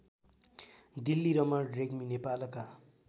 डिल्लीरमण रेग्मी नेपालका